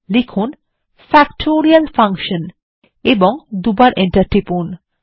লিখুন factorial Function এবং দুইবার এন্টার টিপুন